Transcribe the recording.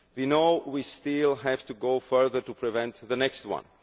We know we still have to go further to prevent the next one.